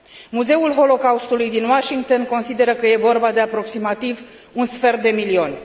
Muzeul Holocaustului din Washington consideră că este vorba de aproximativ un sfert de milion.